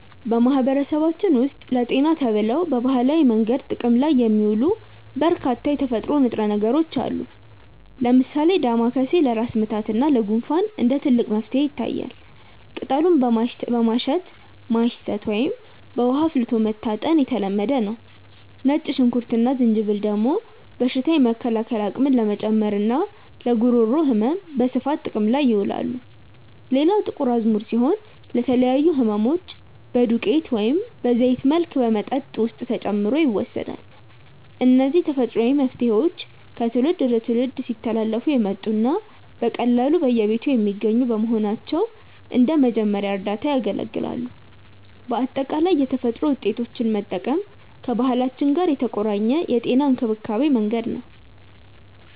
በማህበረሰባችን ውስጥ ለጤና ተብለው በባህላዊ መንገድ ጥቅም ላይ የሚውሉ በርካታ የተፈጥሮ ንጥረ ነገሮች አሉ። ለምሳሌ ዳማከሴ ለራስ ምታት እና ለጉንፋን እንደ ትልቅ መፍትሄ ይታያል፤ ቅጠሉን በማሸት ማሽተት ወይም በውሃ አፍልቶ መታጠን የተለመደ ነው። ነጭ ሽንኩርት እና ዝንጅብል ደግሞ በሽታ የመከላከል አቅምን ለመጨመርና ለጉሮሮ ህመም በስፋት ጥቅም ላይ ይውላሉ። ሌላው ጥቁር አዝሙድ ሲሆን፣ ለተለያዩ ህመሞች በዱቄት ወይም በዘይት መልክ በመጠጥ ውስጥ ተጨምሮ ይወሰዳል። እነዚህ ተፈጥሯዊ መፍትሄዎች ከትውልድ ወደ ትውልድ ሲተላለፉ የመጡና በቀላሉ በየቤቱ የሚገኙ በመሆናቸው እንደ መጀመሪያ እርዳታ ያገለግላሉ። በአጠቃላይ የተፈጥሮ ውጤቶችን መጠቀም ከባህላችን ጋር የተቆራኘ የጤና እንክብካቤ መንገድ ነው።